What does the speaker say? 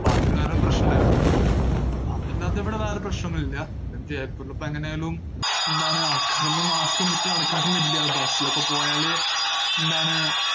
അപ്പോ അതൊരു കാരണം പ്രശ്നമുണ്ടായിരുന്നു, അതല്ലാതെ ഇവിടെ വേറെ പ്രശ്നോന്നൂല്ല, ഇവിടെ ജയ്‌പ്പൂരിലിപ്പം എങ്ങനായാലും എന്താണ് ആൾക്കാരൊന്നും mask ഒന്നും ഇട്ട് നടക്കാറൊന്നില്ല, bus ഇലൊക്കെ പോയാല് എന്താണ്.